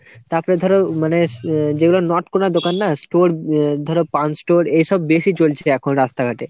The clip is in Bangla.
তাপরে ধরো মানে যেগুলো not কোনায় দোকান না store ধরো পান store উম এসব বেশি চলছে এখন রাস্তাঘাটে।